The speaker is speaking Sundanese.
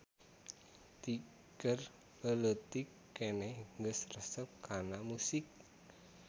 Ti keur leuleutik keneh geus resep kana musik.